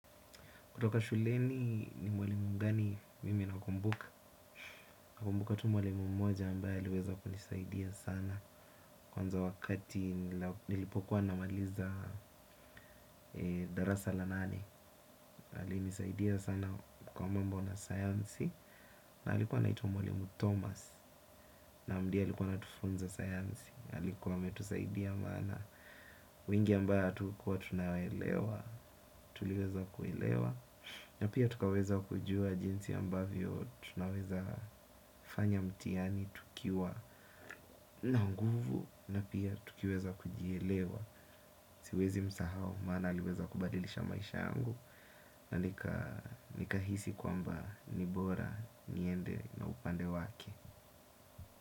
Kutoka shuleni ni mwalimu gani mimi nakumbuka. Nakumbuka tu mwalimu mmoja ambaye aliweza kunisaidia sana. Kwanza wakati nilipokuwa namaliza darasa la nane. Anisaidia sana kwa mambo na sayansi. Alikuwa anaitwa mwalimu Thomas. Naam ndiye alikuwa anatufunza sayansi. Alikuwa ametusaidia bwana wengi ambao hatukuwa tunaelewa. Tuliweza kuilewa. Na pia tukaweza kujua jinsi ambavyo tunaweza fanya mtihani tukiwa na nguvu na pia tukiweza kujielewa. Siwezimsahau maana aliweza kubadilisha maisha yangu na nikahisi kwamba ni bora niende na upande wake.